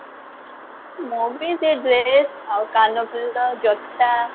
ମୁଁ ବି ସେଇ dress ଆଉ କାନଫୁଲ ଜୋତା